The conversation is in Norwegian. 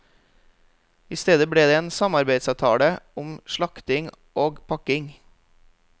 I stedet ble det en samarbeidsavtale om slakting og pakking.